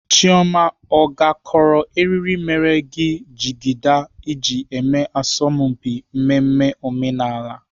Chioma ọ gakọrọ eriri mere gị jigida iji eme asọmpi mmemme omenala?